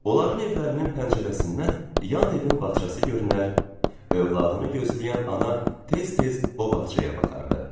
Onların evlərinin pəncərəsindən yan evin bağçası görünər, övladını gözləyən ana tez-tez o bağçaya baxardı.